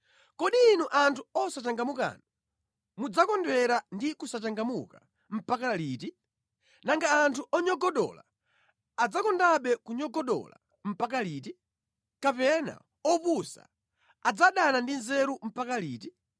“Kodi inu anthu osachangamukanu, mudzakondwera ndi kusachangamuka mpaka liti? Nanga anthu onyogodola adzakondabe kunyogodola mpaka liti? Kapena opusa adzadana ndi nzeru mpaka liti?